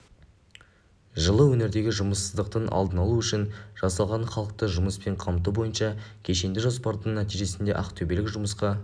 жылы өңірдегі жұмыссыздықтың алдын алу үшін жасалған халықты жұмыспен қамту бойынша кешенді жоспардың нәтижесінде ақтөбелік жұмысқа